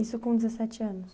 Isso com dezessete anos?